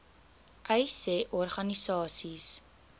uys sê organisasies